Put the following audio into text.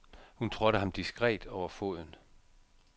Hun trådte ham diskret over foden.